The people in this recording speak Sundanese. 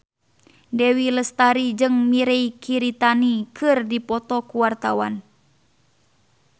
Dewi Lestari jeung Mirei Kiritani keur dipoto ku wartawan